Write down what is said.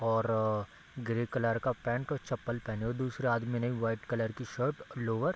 और grey colour का paint और चप्पल पहने है दूसरे आदमी ने वाइट कलर की शर्ट लोअर --